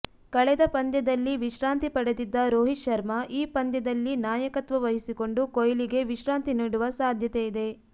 ಕಳೆದ ಪಂದ್ಯದಲ್ಲಿ ವಿಶ್ರಾಂತಿ ಪಡೆದಿದ್ದ ರೋಹಿತ್ ಶರ್ಮಾ ಈ ಪಂದ್ಯದಲ್ಲಿ ನಾಯಕತ್ವ ವಹಿಸಿಕೊಂಡು ಕೊಹ್ಲಿಗೆ ವಿಶ್ರಾಂತಿ ನೀಡುವ ಸಾಧ್ಯತೆ ಇದೆ